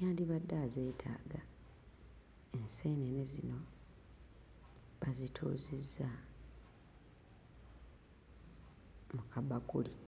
yandibadde azeetaaga. Enseenene zino bazituuzizza mu kabakuli.